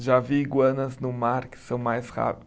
Já vi iguanas no mar que são mais rápi